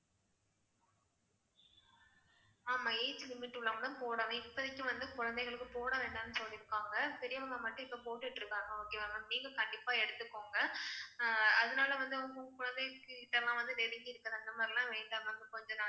ஆமா age limit உள்ளவங்க தான் போடணும். இப்போதைக்கு வந்து குழந்தைகளுக்கு போட வேண்டான்னு சொல்லிருக்காங்க பெரியவங்க மட்டும் இப்போ போட்டுட்டு இருக்காங்க. okay வா ma'am நீங்க கண்டிப்பா எடுத்துக்கோங்க அதனால வந்து உங்க குழந்தைங்க கிட்டலாம் வந்து நெருங்கி இருக்கிறது அந்த மாதிரி எல்லாம் வேண்டாம் ma'am கொஞ்ச நாளைக்கு